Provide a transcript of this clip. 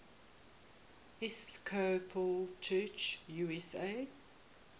episcopal church usa